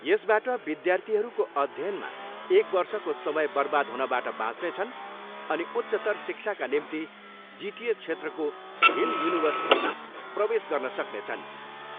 यसबाट विद्यार्थीहरूको अध्ययनमा एक वर्षको समय बर्बाद हुनबाट बाँच्नेछन् अनि उच्चतर शिक्षाका निम्ति जिटिए क्षेत्रको हिल युनिभर्सिटीमा प्रवेश गर्न सक्नेछन्।